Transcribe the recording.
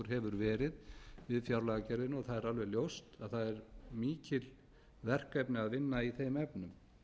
hefur verið við fjárlagagerðina og það er alveg ljóst að það er mikil verkefni að vinna í þeim efnum